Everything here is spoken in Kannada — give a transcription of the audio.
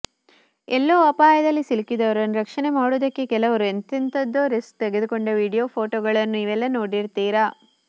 ಎಲ್ಲೋ ಅಪಾಯದಲ್ಲಿ ಸಿಲುಕಿದವರನ್ನು ರಕ್ಷಣೆ ಮಾಡೋದಕ್ಕೆ ಕೆಲವರು ಎಂತೆಂಥದ್ದೋ ರಿಸ್ಕ್ ತೆಗೆದುಕೊಂಡ ವಿಡಿಯೋ ಫೋಟೋಗಳನ್ನು ನೀವೆಲ್ಲಾ ನೋಡಿರ್ತೀರಾ